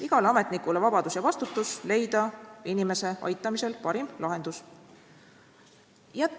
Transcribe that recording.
Igal ametnikul olgu vabadus leida inimese aitamisel parim lahendus ja vastutus selle eest.